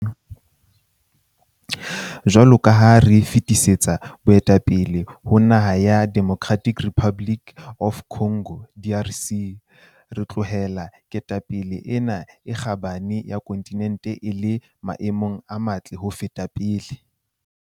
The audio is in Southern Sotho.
Jwalo ka ha re fetisetsa boetapele ho naha ya Democratic Republic of Congo, DRC, re tlohela ketapele ena e kgabane ya kontinente e le maemong a matle ho feta pele.